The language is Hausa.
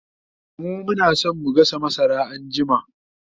mu Muna San mu gasa masara anjima